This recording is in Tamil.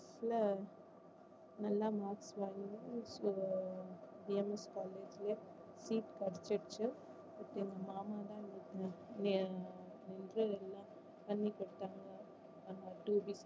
நல்ல marks உம் பிஎம்எஸ் காலேஜ்ல seat கிடைச்சிருச்சு இப்போ எங்க மாமா தான் ஆஹ் எனக்கு எல்லாம் பண்ணி கொடுத்தாங்க two week ஆ